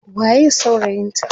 waye saurayin ta?